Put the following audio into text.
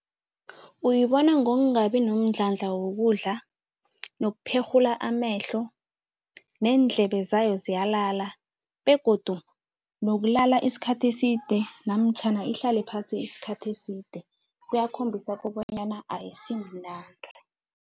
Uyibona ngokungabi nomdlandla wokudla nokupherhula amehlo neendlebe zayo ziyalala begodu nokulala isikhathi eside namtjhana ihlale phasi isikhathi eside kuyakhombisa kobonyana ayisimnandi.